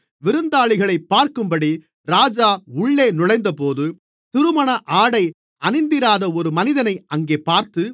விருந்தாளிகளைப் பார்க்கும்படி ராஜா உள்ளே நுழைந்தபோது திருமணஆடை அணிந்திராத ஒரு மனிதனை அங்கே பார்த்து